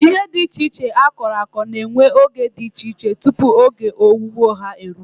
Ihe dị iche iche akọrọ akọ na-ewe oge dị iche iche tupu oge owuwe ha eruo.